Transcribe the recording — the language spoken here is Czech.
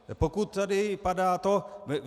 Pokud tady padá to...